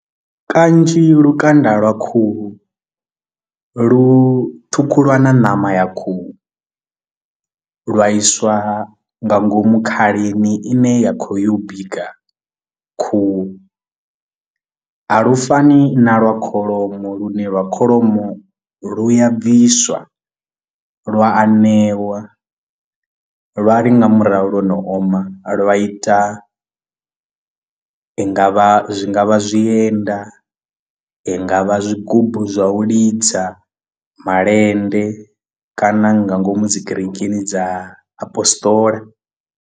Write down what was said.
Kanzhi lukanda lwa khuhu lu ṱhukhulwa na ṋama ya khuhu lwa iswa nga ngomu khalini i ne ya khou ya u bika khuhu, a lu fani na lwa kholomo lu ne lwa kholomo lu ya bviswa lwa anewa lwa ḽi nga murahu lwo no oma lwa ita ndi nga vha zwi nga vha zwi enda i nga vha zwigubu zwa u lidza malende kana nga ngomu dzi kerekeni dza apostola.